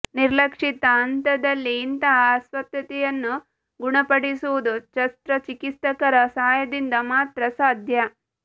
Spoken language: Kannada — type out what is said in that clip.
ನಿರ್ಲಕ್ಷಿತ ಹಂತದಲ್ಲಿ ಇಂತಹ ಅಸ್ವಸ್ಥತೆಯನ್ನು ಗುಣಪಡಿಸುವುದು ಶಸ್ತ್ರಚಿಕಿತ್ಸಕರ ಸಹಾಯದಿಂದ ಮಾತ್ರ ಸಾಧ್ಯ